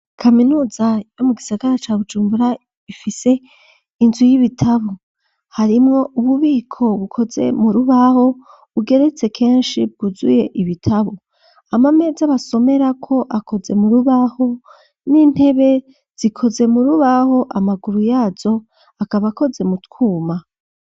Kaminuza yo mu gisagara ca Bujumbura ifise inzu y'ibitabo. Harimwo ububiko bukoze mu rubaho, bugeretse kenshi bwuzuye ibitabo. Amameza basomerako akoze mu rubaho n'intebe zikoze mu rubaho, amaguru yazo akaba akoze mu twuma.